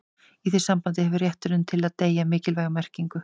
í því sambandi hefur rétturinn til að deyja mikilvæga merkingu